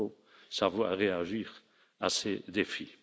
Il faut savoir réagir à ces défis.